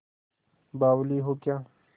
बावली हो क्या